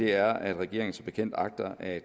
er at regeringen som bekendt agter at